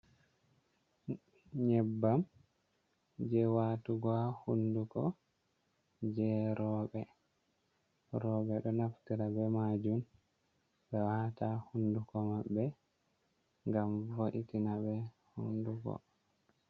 Nyebbam jey waatugo haa hunnduko, jey rowɓe. Rowɓe ɗo naftira be maajum, ɓe waata haa hunnduko maɓɓe, ngam vo’itinaɓe hunnduko.